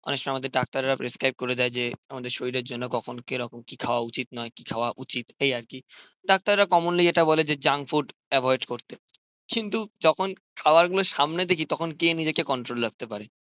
অনেক সময় আমাদের ডাক্তাররা প্রেসক্রাইব করে দেয় যে আমাদের শরীরের জন্য কখন কিরকম কি খাওয়া উচিত নয় কি খাওয়া উচিত এই আর কি. ডাক্তাররা কমনলি যেটা বলে যে জাঙ্ক ফুড অ্যাভয়েড করতে কিন্তু যখন খাবার গুলোর সামনে দেখি তখন কে নিজেকে কন্ট্রল রাখতে পারে.